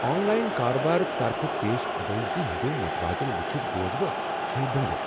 آن line كاربار طرفہٕ پیش ادٲیگی ہٕنٛدیو مٗتبٲدِل وٗچھِتھ گوس بہٕ ہیہ بٗنگہٕ ۔